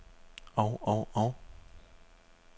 og og og